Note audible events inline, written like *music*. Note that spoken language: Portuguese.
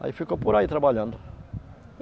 Aí ficou por aí trabalhando. *unintelligible*